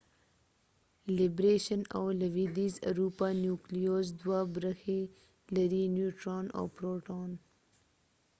لیبریشن_او_ لویدیز_ اروپا نیوکلیوز دوه برخې لري - نیوټران او پروټون